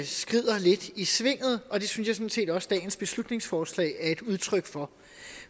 skrider lidt i svinget og det synes jeg sådan set også dagens beslutningsforslag er et udtryk for